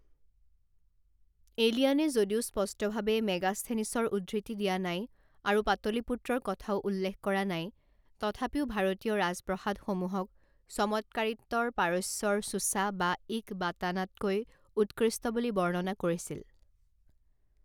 এলিয়ানে যদিও স্পষ্টভাৱে মেগাস্থেনিছৰ উদ্ধৃতি দিয়া নাই আৰু পাটলিপুত্ৰৰ কথাও উল্লেখ কৰা নাই, তথাপিও ভাৰতীয় ৰাজপ্ৰসাদসমূহক চমৎকাৰিত্বত পাৰস্যৰ চুছা বা ইকবাটানাতকৈ উৎকৃষ্ট বুলি বৰ্ণনা কৰিছিল।